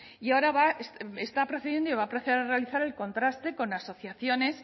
y ahora va está procediendo y va a proceder a realizar el contraste con asociaciones